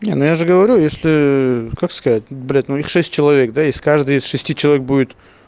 не ну я же говорю если как сказать блядь ну их шесть человек да из каждой из шести человек будет